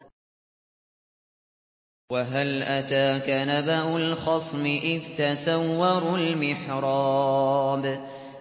۞ وَهَلْ أَتَاكَ نَبَأُ الْخَصْمِ إِذْ تَسَوَّرُوا الْمِحْرَابَ